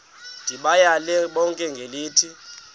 ndibayale bonke ngelithi